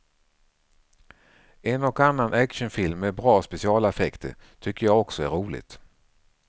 En och annan actionfilm med bra specialeffekter tycker jag också är roligt.